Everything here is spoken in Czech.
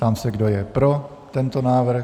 Ptám se, kdo je pro tento návrh.